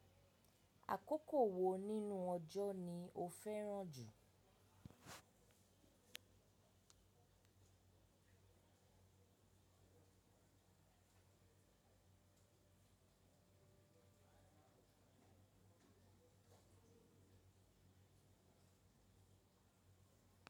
Àkókò wo nínú ọjọ́ ni o fẹ́ràn jù?